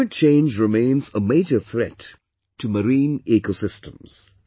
Climate Change remains a major threat to Marine EcoSystems